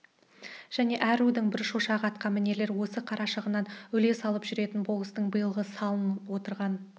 және әр рудың бір шошағы атқамінерлер осы қарашығыннан үлес алып жүретін болыстың биылғы салын отырған